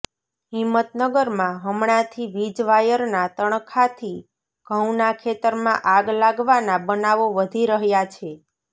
હિંમતનગરમાં હમણાથી વીજ વાયરના તણખલાથી ઘંઉના ખેતરમાં આગ લાગવાના બનાવો વધી રહયા છે